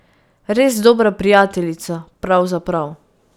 Res dobra prijateljica, pravzaprav.